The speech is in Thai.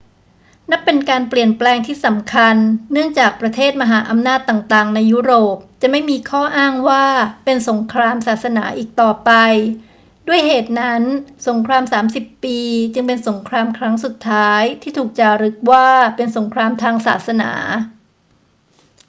นับเป็นการเปลี่ยนแปลงที่สำคัญเนื่องจากประเทศมหาอำนาจต่าง ๆ ในยุโรปจะไม่มีข้ออ้างว่าเป็นสงครามศาสนาอีกต่อไป ด้วยเหตุนั้น สงครามสามสิบปีจึงเป็นสงครามครั้งสุดท้ายที่ถูกจารึกว่าเป็นสงครามทางศาสนา